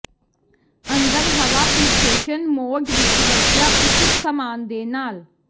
ਅੰਦਰ ਹਵਾ filtration mode ਵਿੱਚ ਵਰਤਿਆ ਉਚਿਤ ਸਾਮਾਨ ਦੇ ਨਾਲ